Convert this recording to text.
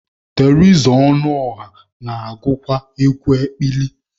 Teriza Ọnụọra na-agụkwa egwu ekpili.